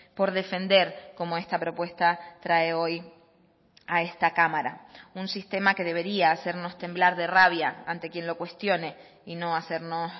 por defender como esta propuesta trae hoy a esta cámara un sistema que debería hacernos temblar de rabia ante quien lo cuestione y no hacernos